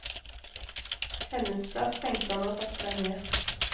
Hennes plass, tenkte han og satte seg ned.